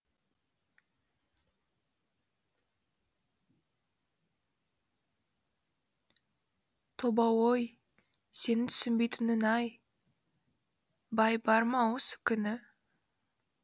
тобау ой сенің түсінбейтінің ай бай бар ма осы күні